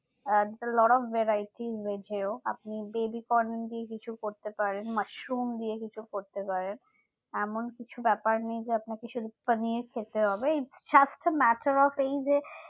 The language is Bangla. at the lord of varieties veg ও আপনি বেবিকন দিয়ে কিছু করতে পারেন মাশরুম দিয়ে কিছু করতে পারেন এমন কিছু ব্যাপার নেই যে আপনাকে সুদু পানির খেতে হবে just a matter of এই যে